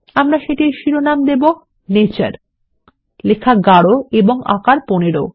আমরা সেটির শিরোনাম দেবো নেচার লেখা গারো এবং আকার ১৫